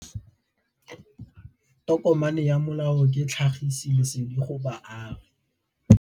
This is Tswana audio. Tokomane ya molao ke tlhagisi lesedi go baagi.